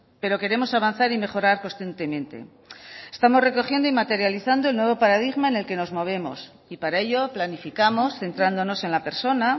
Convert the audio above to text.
pero queremos avanzar y mejorar constantemente estamos recogiendo y materializando el nuevo paradigma en el que nos movemos y para ello planificamos centrándonos en la persona